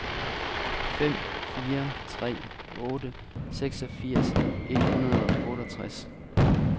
fem fire tre otte seksogfirs et hundrede og otteogtres